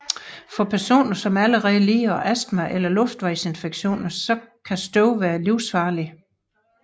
For personer som allerede lider af astma eller luftvejsinfektioner kan støvet være livsfarligt